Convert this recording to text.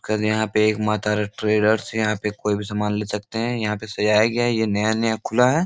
कल यहाँ पे एक माँ तारा ट्रेडर्स । यहाँ पे कोई भी सामान ले सकते हैं। यहाँ पे सजाया गया है। ये नया-नया खुला है।